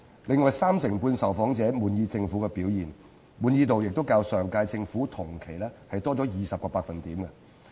此外，三成半受訪者滿意政府表現，滿意度亦較上屆政府同期多20個百分點。